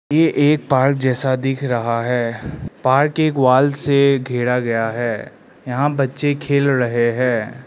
ये एक पार्क जैसा दिख रहा है पार्क एक वॉल से घेरा गया है यहां बच्चे खेल रहे हैं।